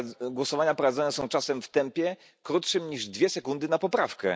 Głosowania prowadzone są czasem w tempie krótszym niż dwie sekundy na poprawkę.